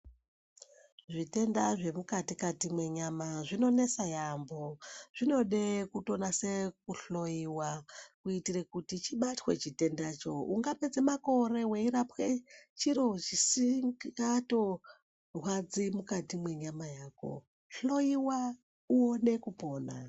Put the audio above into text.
Zvitenda zvemukati kati menyama zvinonesa yambo zvinotide kunyase kuhloyiwa kuite kuti chibatwe chitenda icho ungapedza makore uchiro chisinga torwadzi mukati mwenyama yako hloyiwa uone upone.